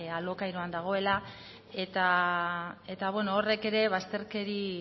alokairuan dagoela eta beno horrek ere bazterkeri